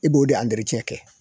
I b'o de kɛ.